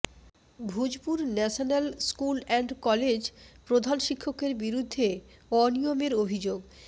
Bhujpur national school and college প্রধান শিক্ষকের বিরুদ্ধে অনিয়মের অভিযোগ